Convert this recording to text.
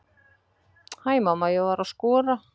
Hæ mamma, ég var að skora!